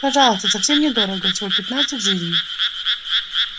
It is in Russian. пожалуйста совсем недорого всего пятнадцать жизней